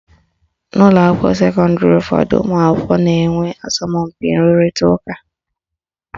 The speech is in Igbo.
N'ụlọakwụkwọ sekọndịrị ụfọdụ, ụmụakwụkwọ na-enwe asọmpi nrụrịta ụka